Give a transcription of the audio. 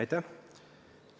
Aitäh!